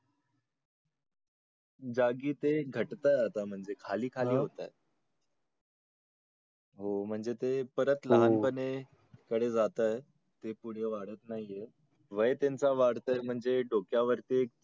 घट्तय आता म्हणजे खाली खाली होतंय. हो म्हणजे ते परत लहानपणे कडे जात आहेत ते पुढं वाढत नाही आहेत. वय त्यांच वाढतंय म्हणजे डोक्यावरती